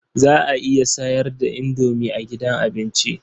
Za a iya sayar da indomi a gidan abinci.